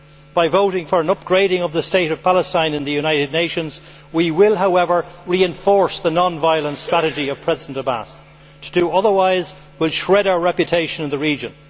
By voting for an upgrading of the state of Palestine in the United Nations, we will, however, reinforce the non violent strategy of President Abbas. To do otherwise will shred our reputation in the region.